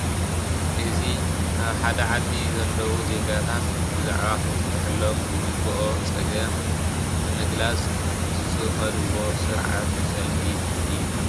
እዚ ኣብ ሓደ ዓዲ ዘለዉ ዜጋታት ብዛዕባ ከፍተሐሎም ዝግብኦ ፀገም ንምግላፅ ዝኸድዎ ስርዓት ሰልፊ እዩ።